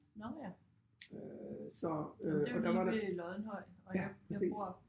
Nåh ja men det jo lige ved Loddenhøj og jeg jeg bor